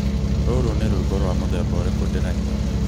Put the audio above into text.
ũyũ nĩ rwĩmbo rwa mũthemba ũrĩkũ ndĩraina?